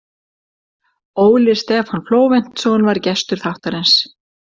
Óli Stefán Flóventsson var gestur þáttarins.